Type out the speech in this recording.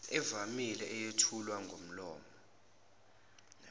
evamile eyethulwa ngomlomo